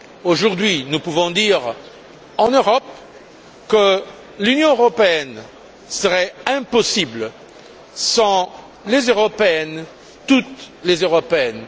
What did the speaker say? Aujourd'hui, nous pouvons dire en Europe que l'Union européenne serait impossible sans les Européennes, toutes les Européennes!